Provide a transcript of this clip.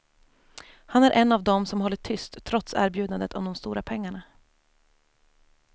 Han är en av dem som hållit tyst trots erbjudandet om de stora pengarna.